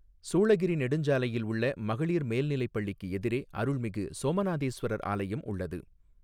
சூளகிாி நெடுஞ்சாலையில் உள்ள மகளிா் மேல்நிலைப் பள்ளிக்கு எதிரே அருள்மிகு சோமநாதேஸ்வரா் ஆலயம் உள்ளது.